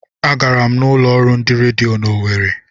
A gara m n'ulo ọrụ ndị redio n'Owere.